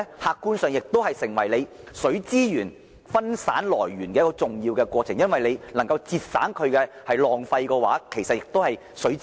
客觀上而言，改善漏水情況亦是善用水資源的一個重要過程，因為若能減少浪費的話，就等於節省水資源。